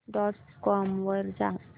dot com वर जा